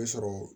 sɔrɔ